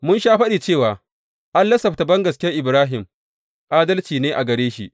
Mun sha faɗi cewa an lissafta bangaskiyar Ibrahim adalci ne a gare shi.